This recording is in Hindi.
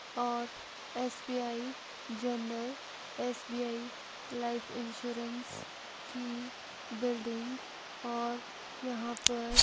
और SBI general SBI life insurance की बिल्डिंग और यहां पर--